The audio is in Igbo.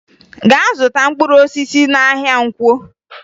Gaa zụta mkpụrụosisi n'ahịa Nkwọ!